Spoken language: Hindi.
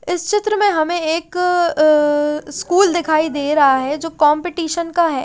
इस चित्र में हमें एक अ स्कूल दिखाई दे रहा है जो कॉम्पिटीशन का है।